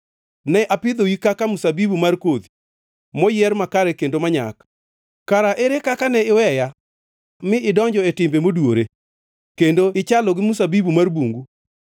Ne apidhoi kaka mzabibu mar kodhi, moyier makare kendo manyak. Kara ere kaka ne iweya mi idonjo e timbe moduwore, kendo ichalo gi mzabibu mar bungu.